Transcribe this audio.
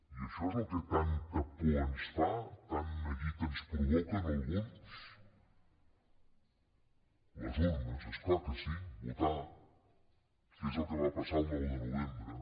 i això és el que tanta por ens fa tant neguit ens provoca a alguns les urnes és clar que sí votar que és el que va passar el nou de novembre